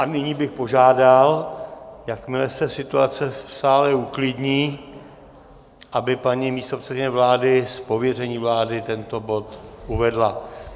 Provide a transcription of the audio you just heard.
A nyní bych požádal, jakmile se situace v sále uklidní, aby paní místopředsedkyně vlády z pověření vlády tento bod uvedla.